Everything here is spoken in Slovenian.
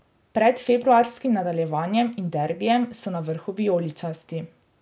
Pred februarskim nadaljevanjem in derbijem so na vrhu vijoličasti.